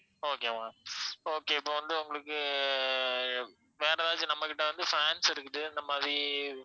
okay ma'am okay இப்ப வந்து உங்களுக்கு அஹ் வேற ஏதாச்சும் நம்ம கிட்ட வந்து fans இருக்குது இந்த மாதிரி